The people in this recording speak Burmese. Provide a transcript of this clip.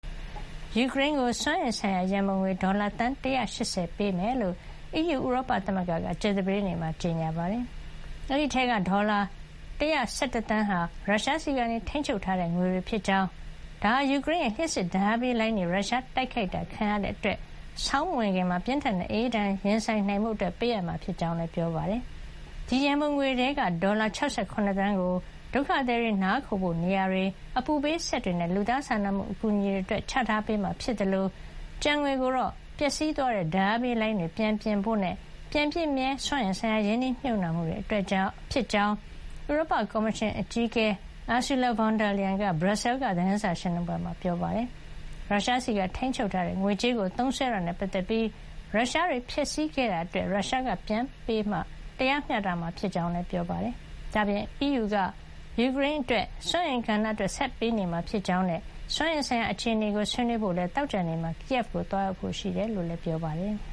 ယူကရိန်းကို စွမ်းအင်ဆိုင်ရာ ရံပုံငွေ ဒေါ်လာ သန်း ၁၈၀ ပေးမှာဖြစ်ကြောင်း အီးယူ- ဥရောပသမဂ္ဂကကြာသပတေးနေ့မှာ ကြေညာပါတယ်။ ဒီအထဲက ဒေါ်လာ ၁၁၁ သန်းဟာ ရုရှားဆီကနေ ထိန်းချုပ်ထားတဲ့ငွေတွေဖြစ်ကြောင်း ဒါဟာ ယူကရိန်းရဲ့ လျှပ်စစ်ဓါတ်အားပေးလိုင်းတွေ ရုရှားတိုက်ခိုက်တာခံရတဲ့အတွက် ဆောင်းမဝင်ခင်မှာ ပြင်းထန်တဲ့အအေးဒဏ်ရင်ဆိုင်နိုင်ဖို့ ပေးမှာဖြစ်ကြောင်းလည်း ပြောပါတယ်။ ဒီရံပုံငွေထဲက ဒေါ်လာ ၆၇ သန်းကို ဒုက္ခသည်တွေနားခိုဖို့ နေရာတွေ၊ အပူပေးစက်တွေနဲ့ လူသားစာနာမှုအကူညီတွေအတွက် ချထားပေးမှာ ဖြစ်သလို ကျန်ငွေကိုတော့ ပျက်စီးသွားတဲ့ ဓါတ်အားပေးလိုင်းတွေပြန်ပြင်ဖို့နဲ့ ပြန်ပြည့်မြဲစွမ်းအင်ဆိုင်ရာ ရင်းနှီးမြှုပ်နှံမှုတွေအတွက် ဖြစ်ကြောင်း ဥရောပကော်မရှင်အကြီးအကဲ Ursula Von der Leyen က ဘရပ်ဆဲလ်က သတင်းစာရှင်းလင်းပွဲမှာ ပြောပါတယ်။ ရုရှားဆီကထိန်းချုပ်ထားတဲ့ငွေကြေးကို သုံးစွဲတာနဲ့ပတ်သက်ပြီး ရုရှားတွေ ဖျက်ဆီးခဲ့တာအတွက် ရုရှားကပြန်ပေးမှပဲတရားမျှတမှာ ဖြစ်ကြောင်းလည်း ပြောပါတယ်။ ဒါ့အပြင် အီးယူက ယူကရိန်း စွမ်းအင်ကဏ္ဍအတွက် ဆက်လက်ပေးအပ်နေမှာဖြစ်ကြောင်းနဲ့ စွမ်းအင်ဆိုင်ရာ အခြေအနေကို ဆွေးနွေးဖို့လည်း သောကြာနေ့မှာ Kyiv ကို သွားရောက်ဖို့ရှိကြောင်းလည်း ပြောပါတယ်။